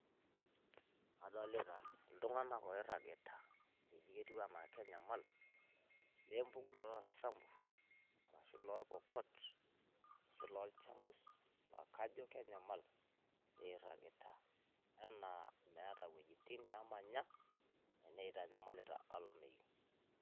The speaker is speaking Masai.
Kadolita iltung'anak oirragita, ketiu enaa kenyamal lempukunoto oosamburr ashu ilorpokot, ashu ilolchamus aakajo kenyamal irragita enaa meeta iwuejitin naamanya enaa itanyamalita olameyu.